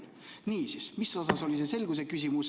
Niisiis, mille kohta oli see selguse küsimus?